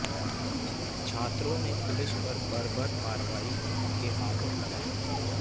छात्रों ने पुलिस पर बर्बर कार्रवाई के आरोप लगाए